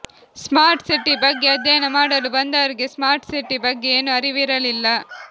smart city ಬಗ್ಗೆ ಅಧ್ಯಯನ ಮಾಡಲು ಬಂದವರಿಗೆ ಸ್ಮಾರ್ಟ್ ಸಿಟಿ ಬಗ್ಗೆ ಏನೂ ಅರಿವಿರಲಿಲ್ಲ